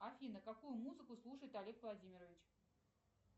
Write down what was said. афина какую музыку слушает олег владимирович